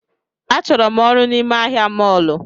A chọrọ m ọrụ n’ime ahịa mọlu